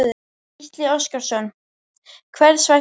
Gísli Óskarsson: Hvers vegna?